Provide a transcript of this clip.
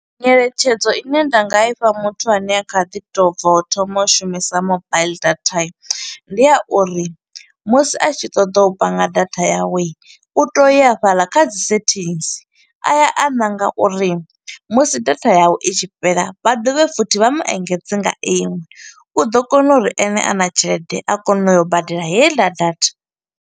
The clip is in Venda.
Ngeletshedzo ine nda nga ifha muthu ane a kha ḓi tou bva u thoma u shumisa mobaiḽi data. Ndi ya uri musi a tshi ṱoḓo u panga datha yawe, u tea u ya hafhaḽa kha dzi settings, a ya a ṋanga uri musi data yawe i tshi fhela, vha dovhe futhi vha mu engedze nga iṅwe. U ḓo kona uri ene a na tshelede a kone u ya u badela heiḽa data.